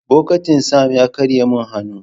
Bokitin Sam ya karye min hannu.